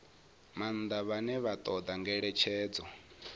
maanḓa vhane vha ṱoḓa ngeletshedzo